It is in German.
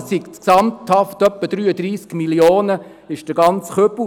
Das sind insgesamt rund 33 Mio. Franken, der ganze Kübel.